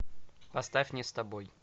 поставь не с тобой